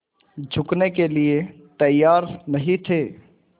झुकने के लिए तैयार नहीं थे